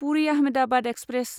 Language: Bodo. पुरि आहमेदाबाद एक्सप्रेस